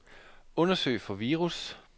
Undersøg for virus.